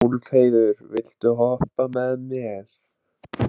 Úlfheiður, viltu hoppa með mér?